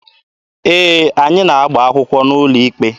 Ee, anyị na-agba akwụkwọ n'ụlọ ikpe.